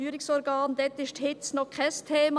Dort ist die Hitze leider noch kein Thema.